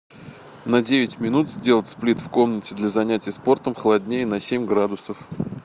на девять минут сделать сплит в комнате для занятия спортом холоднее на семь градусов